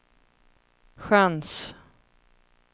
chans